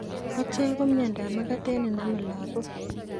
Kochek ko mnyondob magatet nenami lagok